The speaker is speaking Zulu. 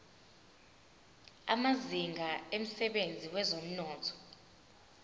amazinga emsebenzini wezomnotho